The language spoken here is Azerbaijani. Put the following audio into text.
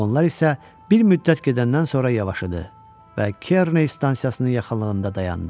Vaqonlar isə bir müddət gedəndən sonra yavaşadı və Kerney stansiyasının yaxınlığında dayandı.